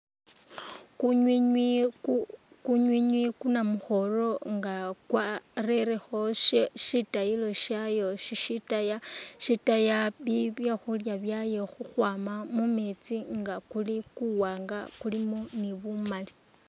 Kunywinywi kunywinywi kunamukhoro inga kwarelekho shitayilo shayo shishitaya shitaya byekhulya byayo khukhwama mumeetsi inga kuli kuwanga kulimu ni bumali.